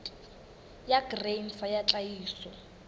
ya grain sa ya tlhahiso